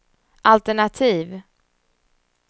altenativ